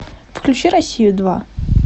включи россию два